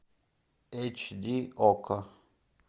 эйч ди окко